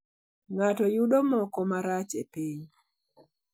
Ng'ato yudo 'moko marach e piny'